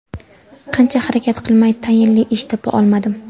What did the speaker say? Qancha harakat qilmay tayinli ish topa olmadim.